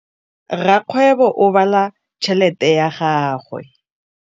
Rakgwêbô o bala tšheletê ya gagwe.